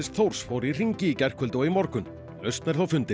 Þórs fór í hringi í gærkvöldi og í morgun lausn er þó fundin